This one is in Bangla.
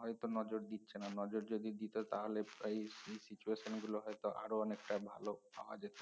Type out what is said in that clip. হয়তো নজর দিচ্ছে না নজর যদি দিতো তাহলে এই এই situation গুলো হয়তো আরো অনেক টা ভালো পাওয়া যেত